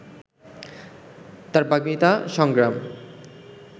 তার বাগ্মিতা, সংগ্রাম